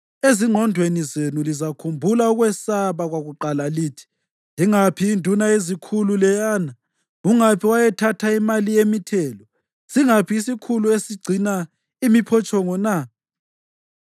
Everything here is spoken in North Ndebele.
Ezingqondweni zenu lizakhumbula ukwesaba kwakuqala lithi: “Ingaphi induna yezikhulu leyana? Ungaphi owayethatha imali yemithelo? Singaphi isikhulu esigcina imiphotshongo na?”